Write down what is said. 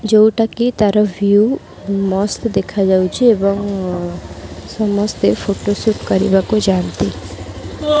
ଯୋଉଟାକି ତାର ଭିଉ ମସ୍ତ୍ ଦେଖାଯାଉଛି ଏବଂ ସମସ୍ତେ ଫୋଟୋ ସୁଟ କରିବାକୁ ଯାଆନ୍ତି।